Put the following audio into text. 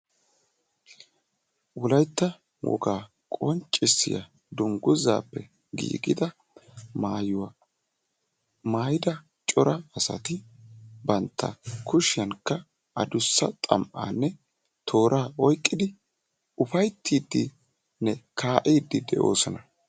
Wolaytta wogaa qonccissiya dungguzzappe giigida maayuwa maayida cora asati bantta kushiyankka adussa xam''aanne toora oyqqidi ufayttiiddinne kaa'iddi de'oosona.